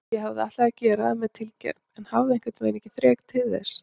Ég hafði ætlað að gera það með tilgerð en hafði einhvernveginn ekki þrek til þess.